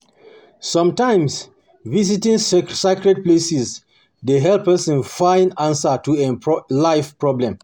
Sometimes, visiting sacred places dey help person find answer to em life problem.